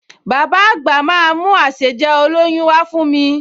Bàbá àgbà máa mú àsèjẹ olóyún wá fún mi